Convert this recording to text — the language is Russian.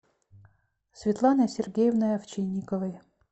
светланой сергеевной овчинниковой